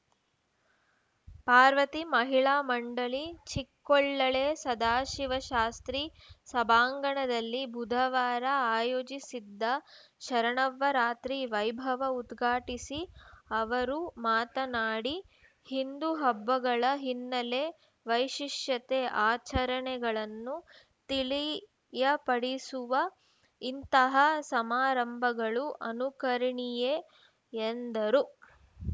ಪಾರ್ವತಿ ಮಹಿಳಾ ಮಂಡಳಿ ಚಿಕ್ಕೊಳಲೆ ಸದಾಶಿವಶಾಸ್ತ್ರಿ ಸಭಾಂಗಣದಲ್ಲಿ ಬುಧವಾರ ಆಯೋಜಿಸಿದ್ದ ಶರನ್ನವರಾತ್ರಿ ವೈಭವ ಉದ್ಘಾಟಿಸಿ ಅವರು ಮಾತನಾಡಿ ಹಿಂದೂ ಹಬ್ಬಗಳ ಹಿನ್ನಲೆ ವೈಶಿಷ್ಟ್ಯ ಆಚರಣೆಗಳನ್ನು ತಿಳಿಯಪಡಿಸುವ ಇಂತಹ ಸಮಾರಂಭಗಳು ಅನುಕರಣೀಯೆ ಎಂದರು